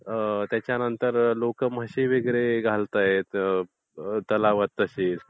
त्याच्यानंतर लोकं म्हशी वगैरे घालतायेत तलावात तशीच.